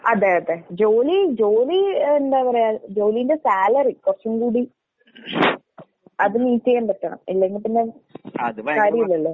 അതെ അതെ. ജോലി ജോലി ഏഹ് എന്താ പറയാ ജോലീന്റെ സാലറി കൊറച്ചും കൂടി അത് മീറ്റ് ചെയ്യാൻ പറ്റണം. ഇല്ലെങ്കിപ്പിന്നെ കാര്യയില്ലല്ലോ.